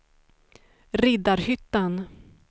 Riddarhyttan